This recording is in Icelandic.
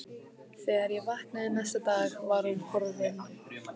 Þegar ég vaknaði næsta dag var hún horfin.